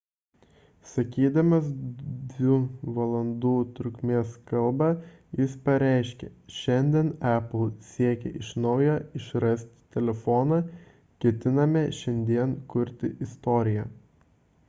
sakydamas 2 valandų trukmės kalbą jis pareiškė šiandien apple siekia iš naujo išrasti telefoną ketiname šiandien kurti istoriją